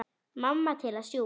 Mamma til að sjúga.